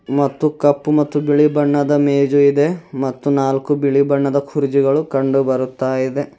ಮತ್ತು ಕಪ್ಪು ಮತ್ತು ಬಿಳಿ ಬಣ್ಣದ ಮೇಜು ಇದೆ ಮತ್ತು ನಾಲ್ಕು ಬಿಳಿ ಬಣ್ಣದ ಕುರ್ಜಿಗಳು ಕಂಡು ಬರುತ್ತಾ ಇದೆ.